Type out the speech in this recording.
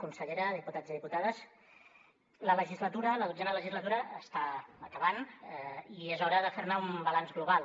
consellera diputats i diputades la legislatura la dotzena legislatura està acabant i és hora de fer ne un balanç global